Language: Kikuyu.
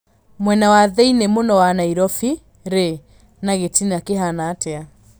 mwena wa thĩini mũno wa Nairobi rĩ na gĩtina kĩhana atĩa